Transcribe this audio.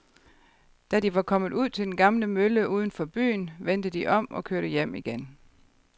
Da de var kommet ud til den gamle mølle uden for byen, vendte de om og kørte hjem igen.